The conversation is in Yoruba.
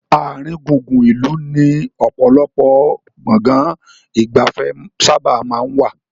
Àárín gùngùn ìlú ni ọ̀pọ̀lọpọ̀ Gbọ̀ngán ìgbafẹ́ sábà maa n wà